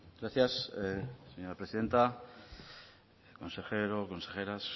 gracias señora presidenta consejero consejeras